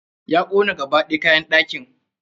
Ya kona gaba ɗaya kayan ɗakin.